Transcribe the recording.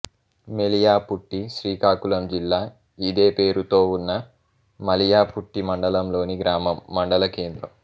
మెళియాపుట్టి శ్రీకాకుళం జిల్లా ఇదే పేరుతో ఉన్న మెళియాపుట్టి మండలం లోని గ్రామం మండల కేంద్రం